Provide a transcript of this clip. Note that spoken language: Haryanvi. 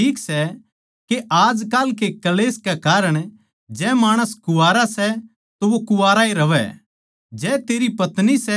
मेरी समझ म्ह यो ठीक सै के आजकाल के क्ळेश कै कारण जै माणस कुवारा सै तो वो कुवारा ए रहवै